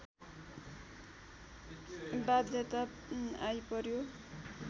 बाध्यता आइपर्‍यो